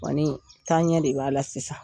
taa ɲɛ de b'a la sisan.